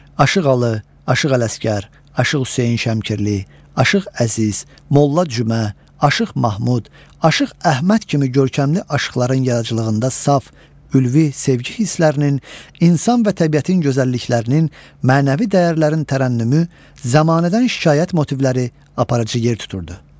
Aşıq Alı, Aşıq Ələsgər, Aşıq Hüseyn Şəmkirli, Aşıq Əziz, Molla Cümə, Aşıq Mahmud, Aşıq Əhməd kimi görkəmli aşıqların yaradıcılığında saf, ülvi sevgi hisslərinin, insan və təbiətin gözəlliklərinin, mənəvi dəyərlərin tərənnümü, zəmanədən şikayət motivləri aparıcı yer tuturdu.